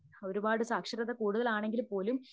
ഒരുപാട് സാക്ഷരത കൂടുതലാണെങ്കിൽ പോലും